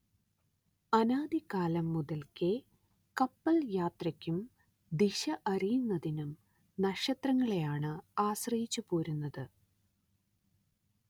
അനാദി കാലം മുതൽക്കേ കപ്പൽ യാത്രയ്ക്കും ദിശ അറിയുന്നതിനും നക്ഷത്രങ്ങളെയാണ് ആശ്രയിച്ചുപോരുന്നത്